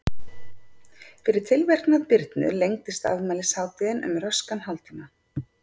Fyrir tilverknað Birnu lengdist afmælishátíðin um röskan hálftíma.